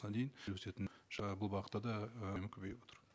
дейін жүргізетін жаңа бұл бағытта да ы көбейіватыр